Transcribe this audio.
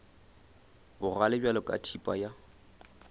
bogale bjalo ka thipa ya